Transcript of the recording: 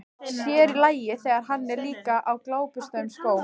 Sér í lagi, þegar hann er líka á gljáburstuðum skóm.